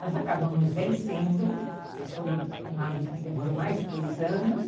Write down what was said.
Nós acabamos vencendo, mas foi uma luta que demorou mais de dois anos.